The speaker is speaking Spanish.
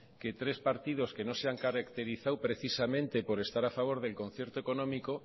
que tres partidos que no se han caracterizado precisamente por estar a favor del concierto económico